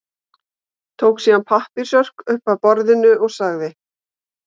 Tók síðan pappírsörk upp af borðinu og sagði